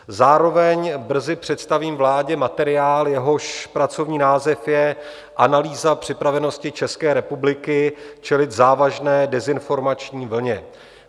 Zároveň brzy představím vládě materiál, jehož pracovní název je Analýza připravenosti České republiky čelit závažné dezinformační vlně.